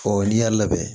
n'i y'a labɛn